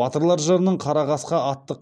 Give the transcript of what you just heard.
батырлар жырының қара қасқа атты